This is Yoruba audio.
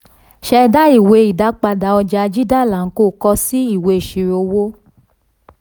ṣẹda ìwé ìdápadà ọja jindal and co kọ si ìwé ìṣirò owó.